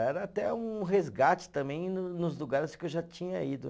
Era até um resgate também no nos lugares que eu já tinha ido.